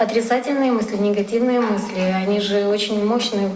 отрицательные мысли негативные мысли они же очень мощные